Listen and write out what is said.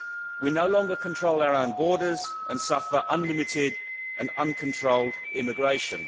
We no longer control our own borders and suffer unlimited and uncontrolled immigration.